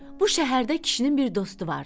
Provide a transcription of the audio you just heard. Bu şəhərdə kişinin bir dostu vardı.